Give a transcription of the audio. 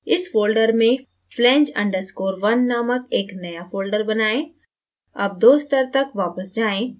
इस folder में flange _ 1 नामक एक नया folder बनाएँ